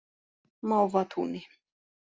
Mávatúni